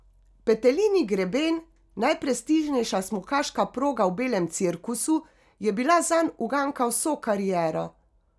Petelinji greben, najprestižnejša smukaška proga v belem cirkusu, je bila zanj uganka vso kariero.